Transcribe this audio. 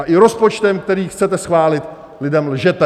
A i rozpočtem, který chcete schválit, lidem lžete.